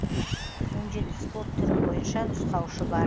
он жеті спорт түрі бойынша нұсқаушы бар